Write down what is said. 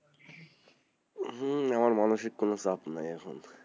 হম আমার মানুষিক কোনো চাপ নাই,